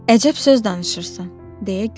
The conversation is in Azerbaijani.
Əcəb söz danışırsan, deyə güldü.